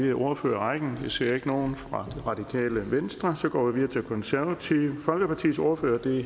i ordførerrækken jeg ser ikke nogen fra det radikale venstre og så går vi videre til det konservative folkepartis ordfører